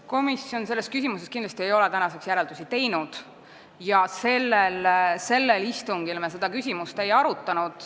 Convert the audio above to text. Komisjon ei ole tänaseks selles küsimuses järeldusi teinud ja sellel istungil me seda küsimust ei arutanud.